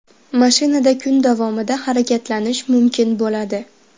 Mashinada kun davomida harakatlanish mumkin bo‘ladi.